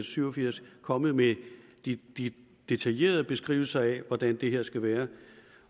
syv og firs kommet med i de detaljerede beskrivelser af hvordan det her skal være